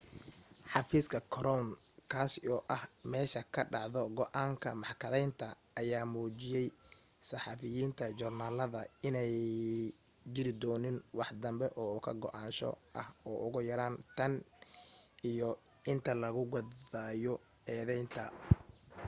xafiiska korown kaasi oo ah meesha ka dhacdo go'aanka maxkadaynta, ayaa u muujiyay saxafiyiinta joornaalada in aanay jirin doonin waxdanbe oo ka go'naansho ah ugu yaraan tan iyo inta laga gaadhayo eedaynta